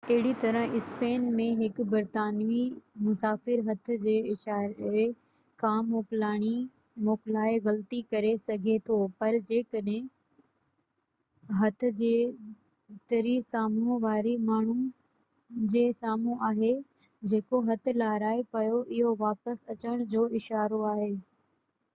اهڙي طرح، اسپين ۾ هڪ برطانوي مسافر هٿ جي اشاري کان موڪلائي غلطي ڪري سگهي ٿو پر جيڪڏهن هٿ جي تري سامهون واري ماڻهو جي سامهون آهي جيڪو هٿ لهرائي پيو اهو واپس اچڻ جو اشارو آهي